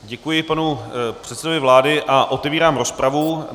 Děkuji panu předsedovi vlády a otevírám rozpravu.